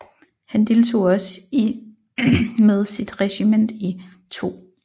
Han deltog også i med sit regiment i 2